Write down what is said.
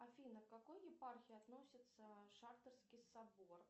афина к какой епархии относится шахторский собор